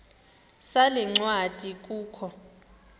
sale ncwadi kukho